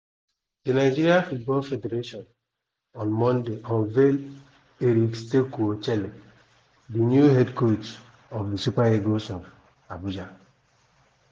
di nigeria football federation on monday unveil éric sékou chelle di new head coach of di super eagles for abuja.